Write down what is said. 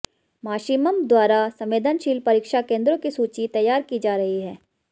माशिमं द्वारा संवेदनशील परीक्षा केंद्रों की सूची तैयार की जा रही है